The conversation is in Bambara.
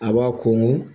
A b'a ko